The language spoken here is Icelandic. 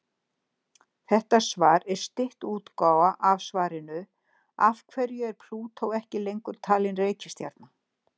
Þetta svar er stytt útgáfa af svarinu Af hverju er Plútó ekki lengur talin reikistjarna?